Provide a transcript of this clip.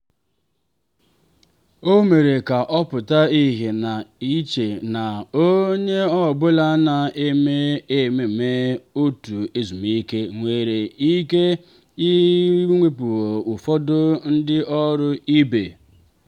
o mere ka ọ pụta ìhè na iche na onye ọ bụla na-eme ememe otu ezumike nwere ike ịwepụ ụfọdụ ndị ọrụ ibe.